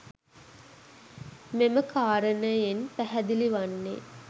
මෙම කාරණයෙන් පැහැදිලි වන්නේ